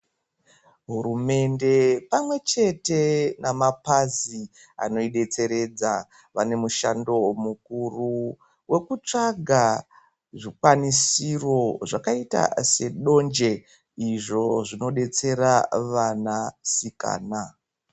Hurumende pamwe chete namapazi anoidetseredza vane mushando mukuru wekutsvaga zvikwanisiro zvakaita sedonje izvo zvinodetsera vana sikana.